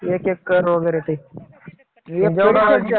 एक एकर वगैरे ते.